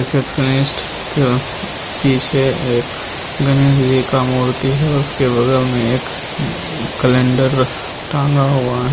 receptionist को पीछे एक गणेश जी का मूर्ति है उसके बगल में एक कैलेंडर टंगा हुआ --